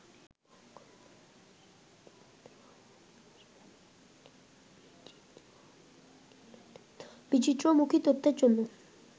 বিচিত্রমুখী তথ্যের জন্য